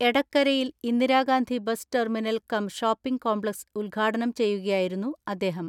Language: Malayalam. എടക്കരയിൽ Indira Gandhi bus terminal come shopping complex ഉദ്ഘാടനം ചെയ്യുകയായിരുന്നു അദ്ദേഹം.